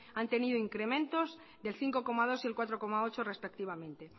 han tenido incrementos del cinco coma dos y el cuatro coma ocho respectivamente